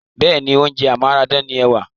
Bẹ́ẹ̀ni, oúnjẹ amáradàgbà ni ẹ̀wà.